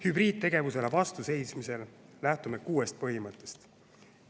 Hübriidtegevusele vastu seismisel lähtume kuuest põhimõttest.